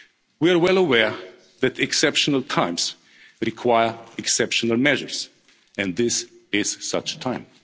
on that. We are well aware that exceptional times require exceptional measures, and this is such